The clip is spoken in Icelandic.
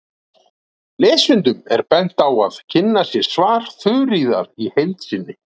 Lesendum er bent á að kynna sér svar Þuríðar í heild sinni.